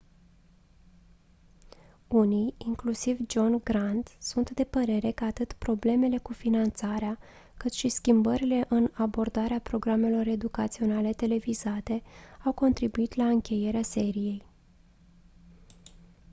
unii inclusiv john grant sunt de părere că atât problemele cu finanțarea cât și schimbările în abordarea programelor educaționale televizate au contribuit la încheierea seriei